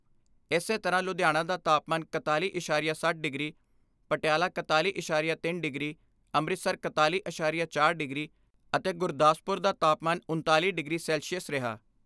ਇਸੇ ਤਰ੍ਹਾਂ ਲੁਧਿਆਣਾ ਦਾ ਤਾਪਮਾਨ ਇਕਤਾਲੀ ਐਸਾਰੀਆ ਸੱਤ ਡਿਗਰੀ, ਪਟਿਆਲਾ ਇਕਤਾਲੀ ਐਸਾਰੀਆ ਤਿੰਨ ਡਿਗਰੀ, ਅੰਮ੍ਰਿਤਸਰ ਇਕਤਾਲੀ ਐਸਾਰੀਆ ਚਾਰ ਡਿਗਰੀ ਅਤੇ ਗੁਰਦਾਸਪੁਰ ਦਾ ਤਾਪਮਾਨ ਉਣਤਾਲੀ ਡਿਗਰੀ ਸੈਲਸੀਅਸ ਰਿਹਾ।